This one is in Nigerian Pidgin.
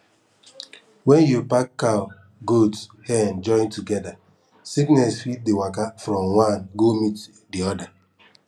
when you pack cow goat hen join together sickness fit dey waka from one go meet the other